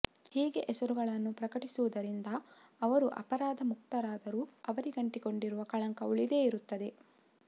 ಹೀಗೆ ಹೆಸರುಗಳನ್ನು ಪ್ರಕಟಿಸುವುದರಿಂದ ಅವರು ಅಪರಾಧ ಮುಕ್ತರಾದರೂ ಅವರಿಗಂಟಿಕೊಂಡಿರುವ ಕಳಂಕ ಉಳಿದೇ ಇರುತ್ತದೆ